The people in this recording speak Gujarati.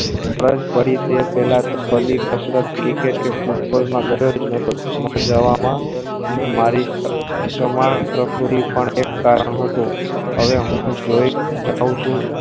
તરીકે પેલા પેલા કસરત તરીકે પે હુથ કુલ ના ઘર તરીકે જવા મા મારી સૌ છમાં પ્રકીરતી પણ એ કારણ હતું હવે હું જોયી જાઉં છું